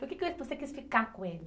Por que foi que você quis ficar com ele?